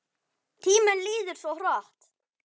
Tíminn líður svo hratt!